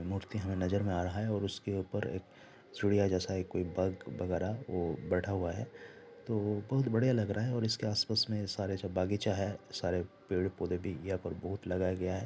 अ मूर्ति हमें नजर में आ रहा है और उसके ऊपर एक चिड़िया जैसा एक कोई बग वगेरा वो बेठा हुआ है तो बहोत बढ़िया लग रहा है और इसके आसपास में सायद बगीचा है सारे पेड़ पोधे भी यहां पर लगाया गया है।